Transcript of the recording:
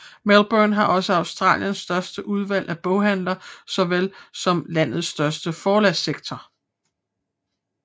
Melbourne har også Australiens største udvalg af boghandler såvel som landets største forlagssektor